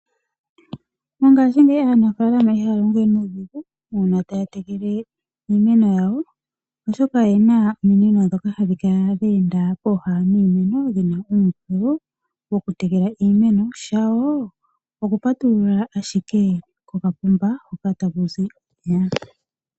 Mongashingeyi aanafalama ihaya longo we nuudhigu uuna taya tekele iimeno yawo, oshoka oyena ominino dhoka hadhi kala dha enda pooha dhiimeno dhina uumbululu wokutekela iimeno. Shawo okupatulula ashike kokapomba hoka taku zi omeya.